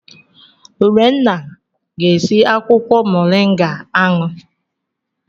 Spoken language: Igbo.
Urenna ga-esi akwụkwọ Moringa aṅụ.